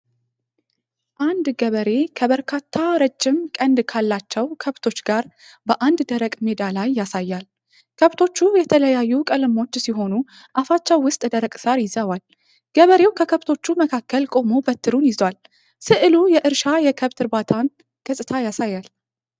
አንድ ገበሬ ከበርካታ ረጅም ቀንድ ካላቸው ከብቶች ጋር በአንድ ደረቅ ሜዳ ላይ ያሳያል። ከብቶቹ የተለያዩ ቀለሞች ሲሆኑ አፋቸው ውስጥ ደረቅ ሣር ይዘዋል። ገበሬው ከከብቶቹ መካከል ቆሞ በትሩን ይዟል። ሥዕሉ የእርሻና የከብት እርባታን ገጽታ ያሳያል።